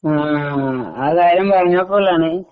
ആ കാര്യം പറഞ്ഞപ്പോഴാണ്